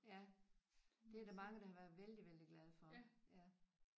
Ja det er der mange der har været vældig vældig glade for ja